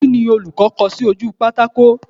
Kíni olùkọ́ kọ sí ojú pátákò?